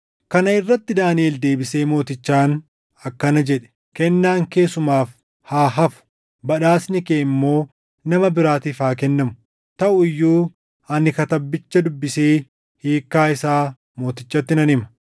Kana irratti Daaniʼel deebisee mootichaan akkana jedhe; “Kennaan kee sumaaf haa hafu; badhaasni kee immoo nama biraatiif haa kennamu. Taʼu iyyuu ani katabbicha dubbisee hiikkaa isaa mootichatti nan hima.